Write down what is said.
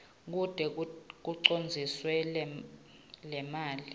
kute kucondziswe lemali